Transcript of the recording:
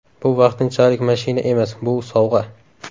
Bu vaqtinchalik mashina emas – bu sovg‘a.